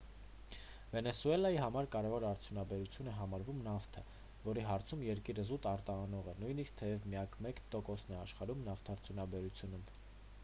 վենեսուելայի համար կարևոր արդյունաբերություն է համարվում նավթը որի հարցում երկիրը զուտ արտահանող է նույնիսկ թեև միայն մեկ տոկոսն է աշխատում նավթարդյունաբերությունում